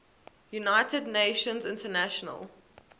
united nations international